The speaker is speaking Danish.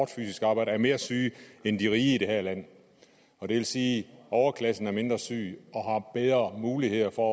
fysisk arbejde er mere syge end de rige i det her land det vil sige at overklassen er mindre syg og har bedre muligheder for